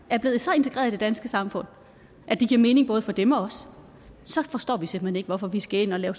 er blevet så integreret i det danske samfund at det giver mening både for dem og os så forstår vi simpelt hen ikke hvorfor vi skal ind at lave